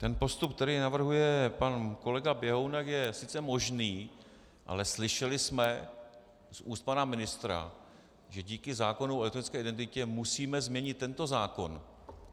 Ten postup, který navrhuje pan kolega Běhounek, je sice možný, ale slyšeli jsme z úst pana ministra, že díky zákonu o elektronické identitě musíme změnit tento zákon.